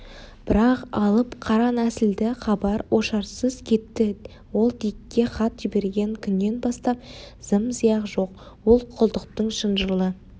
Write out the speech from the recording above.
бірақ алып қара нәсілді хабар-ошарсыз кетті ол дикке хат жіберген күннен бастап зым-зия жоқ ол құлдықтың шынжырлы